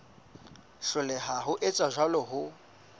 hloleha ho etsa jwalo ho